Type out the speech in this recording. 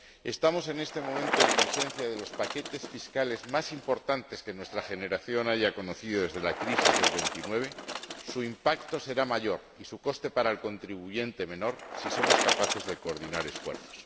Estamos en este momento en presencia de los paquetes fiscales más importantes que nuestra generación haya conocido desde la crisis de 1929. Su impacto será mayor y su coste para el contribuyente menor si somos capaces de coordinar esfuerzos.